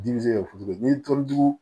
Ji bɛ se ka kɛ futɛni ye n'i ye tulu dun